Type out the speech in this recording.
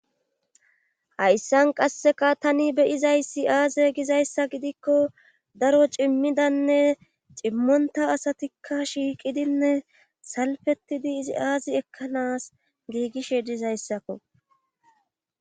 hayssan qasseka tani beyizayssi aaze gizayssa gidikko daro cimmidanne cimmonta asatikka shiiqidinne salfettidi izi aazi ekkanas giigishe dizayssakko